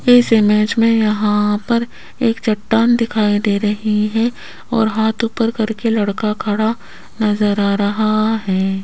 इस इमेज में यहां पर एक चट्टान दिखाई दे रही है और हाथ ऊपर करके लड़का खड़ा नजर आ रहा है।